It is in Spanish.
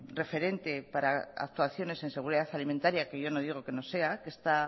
referente para actuaciones en seguridad alimentaria que yo no digo que no sea